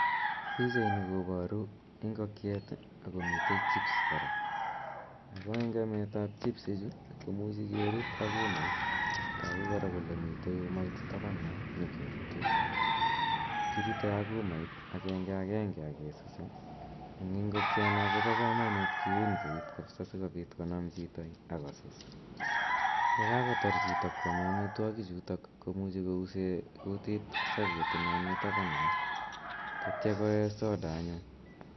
Pichaini koparu ingokiet, ak komite chips kora ago eng ametab chipisichu kemichi kerut ak umait tagu kora kole mite umait tapan yon negerutei. Kirutei ak umait agengagenge ak kesuse. Eng ingokiana koba kamanut kiuneut kapisa sigopit konam chito ak kosus. Ye kagotar chito kwame amitwogichuto komuche kouse kutit saviet inon mitaban yo tatia koe soda anyun.